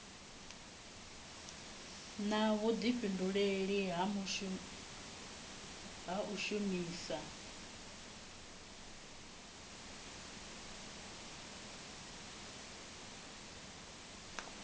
na vhudifhinduleli ha u shumisa